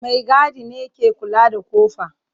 Maigadi ne ke kula da kofa.